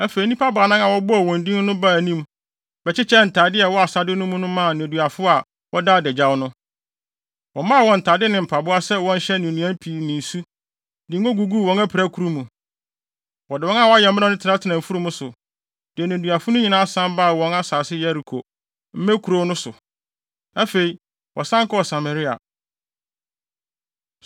Afei, nnipa baanan a wɔbobɔɔ wɔn din no baa anim, bɛkyekyɛɛ ntade a ɛwɔ asade no mu no maa nneduafo a wɔda adagyaw no. Wɔmaa wɔn ntade ne mpaboa sɛ wɔnhyɛ ne nnuan pii ne nsu, de ngo guguu wɔn apirakuru mu. Wɔde wɔn a wɔayɛ mmerɛw no tenatenaa mfurum so, de nneduafo no nyinaa san baa wɔn asase Yeriko, mmɛkurow, no so. Afei, wɔsan kɔɔ Samaria.